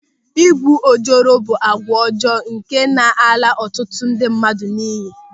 Ịgwu ojoro bụ àgwà ọjọọ nke na-ala ọtụtụ ndị mmadụ n'iyi.